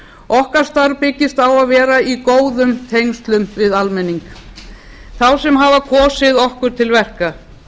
okkar starf byggist á því að vera í góðum tengslum við almenning þá sem hafa kosið okkur til verka